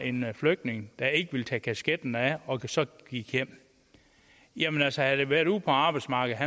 en flygtning der ikke ville tage kasketten af og så gik hjem jamen altså havde det været ude på arbejdsmarkedet